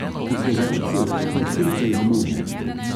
V kozarcu je plaval krhelj limone.